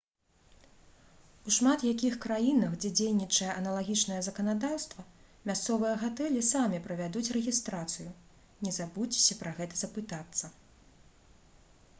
у шмат якіх краінах дзе дзейнічае аналагічнае заканадаўства мясцовыя гатэлі самі правядуць рэгістрацыю не забудзьцеся пра гэта запытацца